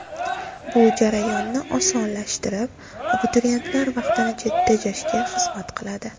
Bu jarayonni osonlashtirib, abituriyentlar vaqtini tejashga xizmat qiladi.